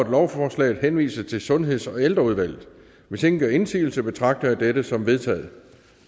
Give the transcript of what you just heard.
at lovforslaget henvises til sundheds og ældreudvalget hvis ingen gør indsigelse betragter jeg dette som vedtaget